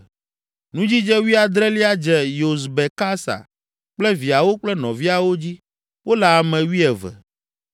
Nudzidze wuiadrelia dze Yosbekasa kple viawo kple nɔviawo dzi; wole ame wuieve.